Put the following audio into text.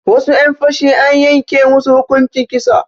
Wasu 'yan fashi an yanke musu hukunci kisa